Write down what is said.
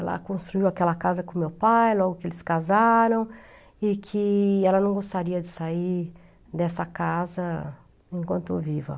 Ela construiu aquela casa com meu pai logo que eles casaram e que ela não gostaria de sair dessa casa enquanto viva.